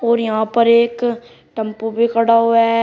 और यहां पर एक टम्पू भी खड़ा हुआ है।